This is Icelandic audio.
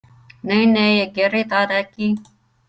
Nei, nei, ég geri það ekki.